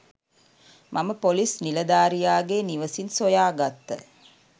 මම පොලිස් නිලධාරියාගේ නිවසින් සොයාගත්ත